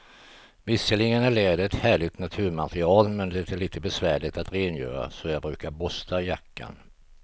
Visserligen är läder ett härligt naturmaterial, men det är lite besvärligt att rengöra, så jag brukar borsta jackan.